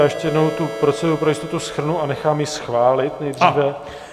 Já ještě jednou tu proceduru pro jistotu shrnu a nechám ji schválit nejdříve.